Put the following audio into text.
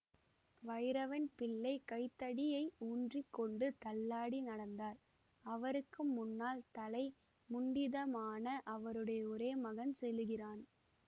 வைரவன் பிள்ளை கைத்தடியை ஊன்றி கொண்டு தள்ளாடி நடந்தார் அவருக்கு முன்னால் தலை முண்டிதமான அவருடைய ஒரே மகன் செல்லுகிறான்